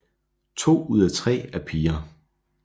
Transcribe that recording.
To ud af tre er piger